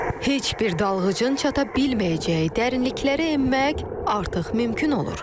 Heç bir dalğıcın çata bilməyəcəyi dərinliklərə enmək artıq mümkün olur.